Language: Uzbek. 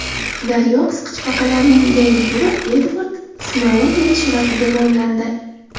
Daryo qisqichbaqalarining yangi turi Edvard Snouden sharafiga nomlandi.